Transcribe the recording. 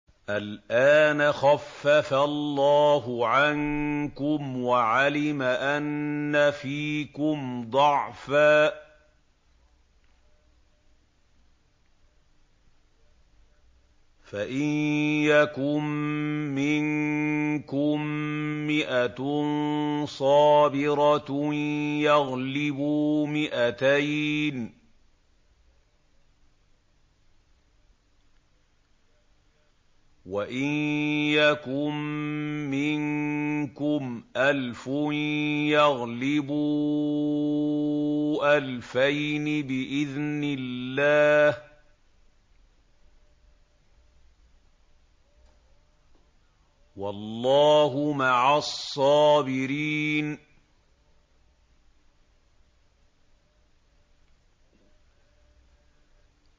الْآنَ خَفَّفَ اللَّهُ عَنكُمْ وَعَلِمَ أَنَّ فِيكُمْ ضَعْفًا ۚ فَإِن يَكُن مِّنكُم مِّائَةٌ صَابِرَةٌ يَغْلِبُوا مِائَتَيْنِ ۚ وَإِن يَكُن مِّنكُمْ أَلْفٌ يَغْلِبُوا أَلْفَيْنِ بِإِذْنِ اللَّهِ ۗ وَاللَّهُ مَعَ الصَّابِرِينَ